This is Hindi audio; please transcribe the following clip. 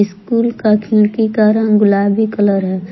स्कूल का खिड़की का रंग गुलाबी कलर है।